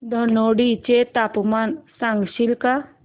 धनोडी चे तापमान सांगशील का